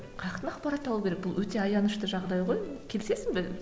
қаяқтан ақпарат алу керек бұл өте аянышты жағдай ғой келісесің бе